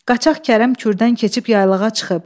Qaçaq Kərəm Kürdən keçib yaylağa çıxıb.